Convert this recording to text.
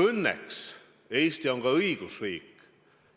Õnneks Eesti on õigusriik